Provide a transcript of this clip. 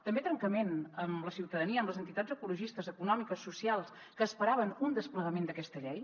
també trencament amb la ciutadania amb les entitats ecologistes econòmiques socials que esperaven un desplegament d’aquesta llei